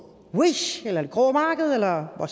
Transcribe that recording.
wish eller på det grå marked eller hvor